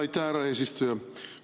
Aitäh, härra eesistuja!